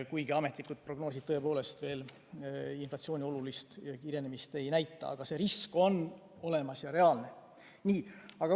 Kuigi ametlikud prognoosid tõepoolest veel inflatsiooni olulist kiirenemist ei näita, on see risk olemas ja reaalne.